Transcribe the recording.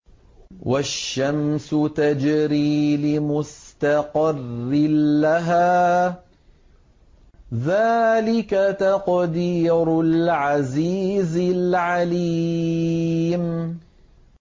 وَالشَّمْسُ تَجْرِي لِمُسْتَقَرٍّ لَّهَا ۚ ذَٰلِكَ تَقْدِيرُ الْعَزِيزِ الْعَلِيمِ